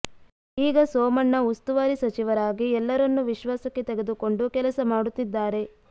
ಈಗ ಸೋಮಣ್ಣ ಉಸ್ತುವಾರಿ ಸಚಿವರಾಗಿ ಎಲ್ಲರನ್ನೂ ವಿಶ್ವಾಸಕ್ಕೆ ತೆಗೆದುಕೊಂಡು ಕೆಲಸ ಮಾಡುತ್ತಿದ್ದಾರೆ